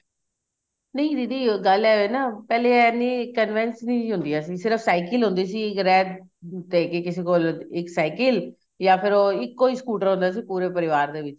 ਨਹੀਂ ਦੀਦੀ ਗੱਲ ਇਹ ਏ ਨਾ ਪਹਿਲੇ ਏ ਨੀਂ convince ਨੀਂ ਹੁੰਦੀਆਂ ਸੀ ਸਿਰਫ cycle ਹੁੰਦੀ ਸੀ ਗ੍ਰੇ ਤੇ ਕਿਸੇ ਕੋਲ ਇੱਕ cycle ya ਫਿਰ ਉਹ ਇੱਕੋ ਹੀ scooter ਹੁੰਦਾ ਸੀ ਪੂਰੇ ਪਰਿਵਾਰ ਦੇ ਵਿੱਚ